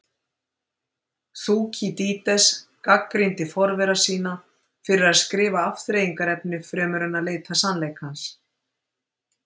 Þúkýdídes gagnrýndi forvera sína fyrir að skrifa afþreyingarefni fremur en að leita sannleikans.